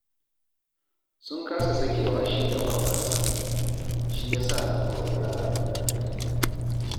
Sun kasa sakewa shi da baƙonsa, shi ya sa na kori yara daga ɗakin